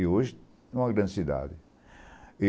E hoje é uma grande cidade.